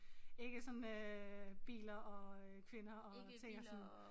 Ikke sådan øh biler og øh kvinder og ting og sådan